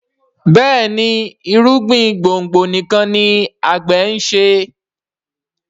Béèni irúgbìn gbòngbò nìkàn ní agbe nṣe.